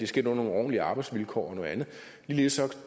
sket under nogle ordentlige arbejdsvilkår ligeledes